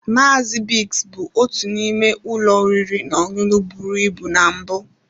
Maazị Bigs bụ otu n'ime ụlọ oriri na ọṅụṅụ bụrụ ibu na mbụ.